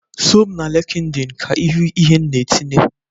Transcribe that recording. Soo m na LịnkedỊnị ka ịhụ ihe m na-etinye!